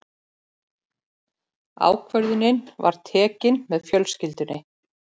Ákvörðunin var tekin með fjölskyldunni.